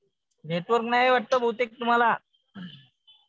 Network नाहीये वाटतं बहुतेक तुम्हाला.